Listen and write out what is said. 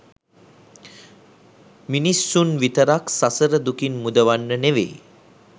මිනිස්සුන් විතරක් සසර දුකින් මුදවන්න නෙවෙයි